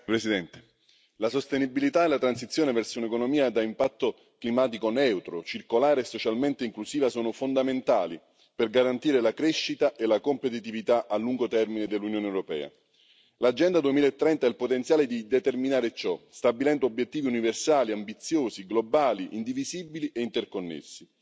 Signora Presidente, onorevoli colleghi, la sostenibilità e la transizione verso un'economia ad impatto climatico neutro, circolare e socialmente inclusiva, sono fondamentali per garantire la crescita e la competitività a lungo termine dell'Unione europea. L'Agenda 2030 ha il potenziale di determinare ciò, stabilendo obiettivi universali ambiziosi, globali, indivisibili e interconnessi.